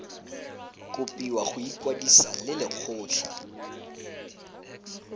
kopiwa go ikwadisa le lekgotlha